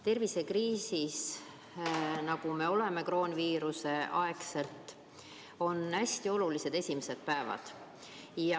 Tervisekriisis, kuhu me kroonviiruse ajal oleme sattunud, on hästi olulised sümptomite esimesed päevad.